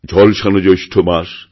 ঝলসানো জ্যৈষ্ঠ মাস